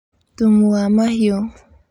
Thumu wa mahiũ